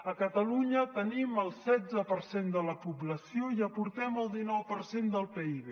a catalunya tenim el setze per cent de la població i aportem el dinou per cent del pib